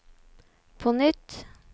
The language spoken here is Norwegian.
på nytt